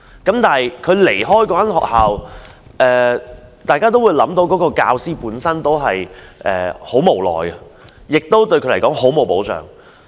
當他要離開那間學校，大家都會想到他感到很無奈，對他來說亦欠缺保障。